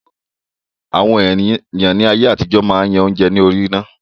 Àwọn èèyàn ní ayé àtijọ́ máa yan oúnjẹ lórí iná